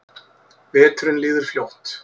Veturinn líður fljótt.